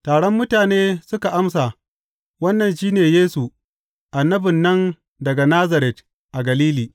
Taron mutane suka amsa, Wannan shi ne Yesu, annabin nan daga Nazaret a Galili.